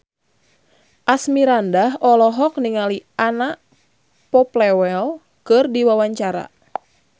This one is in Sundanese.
Asmirandah olohok ningali Anna Popplewell keur diwawancara